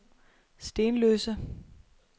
Stenløse